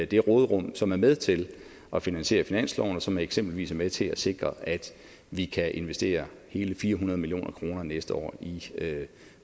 det råderum som er med til at finansiere finansloven og som eksempelvis er med til at sikre at vi kan investere hele fire hundrede million kroner næste år i